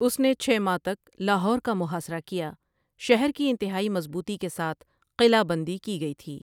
اس نے چھ ماہ تک لاہور کا محاصرہ کیا شہر کی انتہائی مضبوطی کے ساتھ قلعہ بندی کی گئی تھی ۔